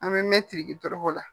An bɛ mɛn tiriki dɔrɔkɔ la